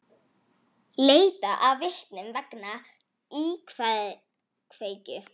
Leitað að vitnum vegna íkveikju